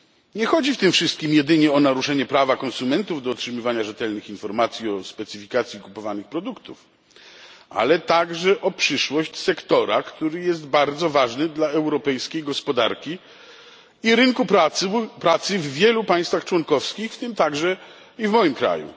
Nie chodzi w tym wszystkim jedynie o naruszenie prawa konsumentów do otrzymywania rzetelnych informacji o specyfikacji kupowanych produktów, ale także o przyszłość sektora, który jest bardzo ważny dla europejskiej gospodarki i rynku pracy w wielu państwach członkowskich, w tym także i w moim kraju.